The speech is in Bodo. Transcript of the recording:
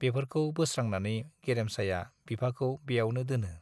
बेफोरखौ बोस्रांनानै गेरेमसाया बिफाखौ ब्यावनो दोनो।